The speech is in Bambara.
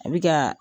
A bɛ ka